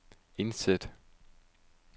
indsæt